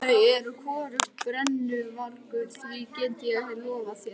Þau eru hvorugt brennuvargur, því get ég lofað þér.